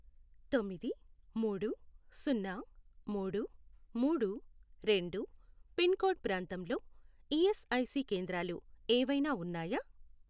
తొమ్మిది, మూడు, సున్నా, మూడు, మూడు, రెండు, పిన్ కోడ్ ప్రాంతంలో ఈఎస్ఐ సి కేంద్రాలు ఏవైనా ఉన్నాయా?